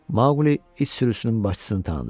Maqli it sürüsünün başçısını tanıdı.